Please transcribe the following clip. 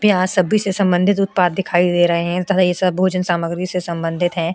यहां सभी से संबंधित उत्पाद दिखाई दे रहे हैं तथा ये सब भोजन सामग्री से संबंधित हैं।